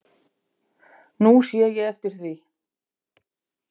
Nú sé ég eftir því.